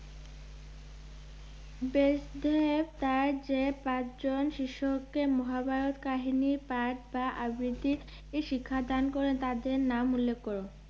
ব্যাসদেব তাঁর যে পাঁচ জন শিষ্যকে মহাভারত কাহিনী পাঠ বা আবৃতির ই- শিক্ষাদান করেন তাদের নাম উল্লেখ করো।